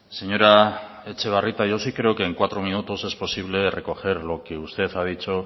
señora etxebarrieta yo sí creo que en cuatro minutos es posible recoger lo que usted ha dicho